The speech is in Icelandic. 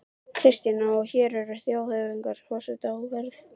Kristjana: Og hér eru þjóðhöfðingjar og forsetar á ferð?